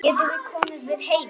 Getum við komið við heima?